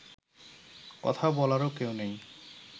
কথা বলারও কেউ নেই